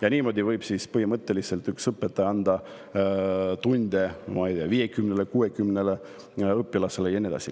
Ja niimoodi võib üks õpetaja anda tunde põhimõtteliselt 50–60 õpilasele.